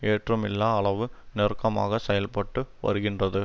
ஏற்றமில்லா அளவு நெருக்கமாக செயல்பட்டு வருகின்றது